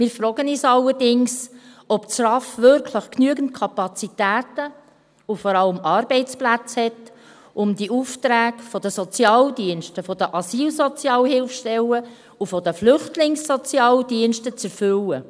Wir fragen uns allerdings, ob das RAV wirklich genügend Kapazitäten und vor allem Arbeitsplätze hat, um die Aufträge der Sozialdienste, der Asylsozialhilfestellen und der Flüchtlingssozialdienste zu erfüllen.